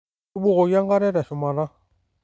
Tubukoki enkare teshumata.